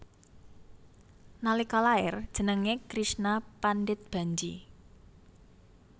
Nalika lair jenengé Krishna Pandit Bhanji